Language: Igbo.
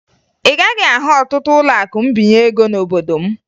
Ị gaghị ahụ ọtụtụ ụlọakụ mbinye ego n'obodo m